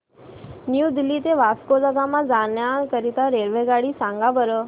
new Delhi ते वास्को द गामा जाण्या करीता रेल्वेगाडी सांगा बरं